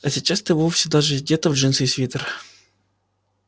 а сейчас ты вовсе даже одета в джинсы и свитер